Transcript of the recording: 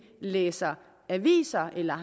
læser aviser eller